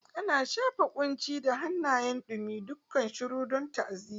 Ana shafa kunci da hannayen dumi, kukan shiru don ta'aziyya.